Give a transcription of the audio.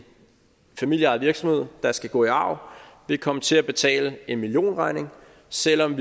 familieejet virksomhed der skal gå i arv vil komme til at betale en millionregning selv om